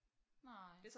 Nej